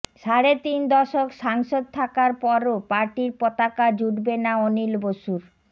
সাড়ে তিন দশক সাংসদ থাকার পরও পার্টির পতাকা জুটবে না অনিল বসুর